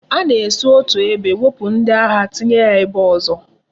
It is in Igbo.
A na esi otu ebe wepu ndi agha tinye ha ebe ozo